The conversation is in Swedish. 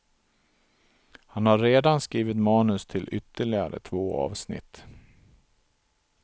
Han har redan skrivit manus till ytterligare två avsnitt.